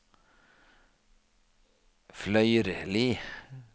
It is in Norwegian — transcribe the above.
Fløyrli